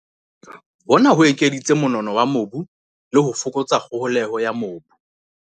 Hona ho ekeditse monono wa mobu le ho fokotsa kgoholeho ya mobu.